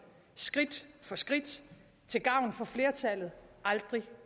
skridt for skridt til gavn for flertallet og aldrig